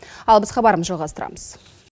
ал біз хабарымызды жалғастырамыз